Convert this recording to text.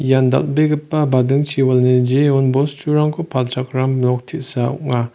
ian dal·begipa badingchiwalani jeon bosturangko palchakram nok te·sa ong·a.